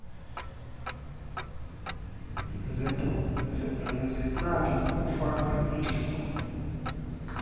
zeplagi kukufaka iingcingo